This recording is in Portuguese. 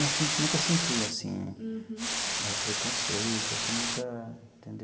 Não si nunca senti, assim, preconceito, assim, nunca entendeu.